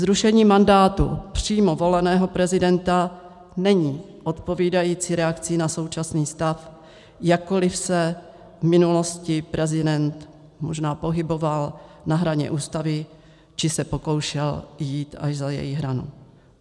Zrušení mandátu přímo voleného prezidenta není odpovídající reakcí na současný stav, jakkoliv se v minulosti prezident možná pohyboval na hraně Ústavy či se pokoušel jít až za její hranu.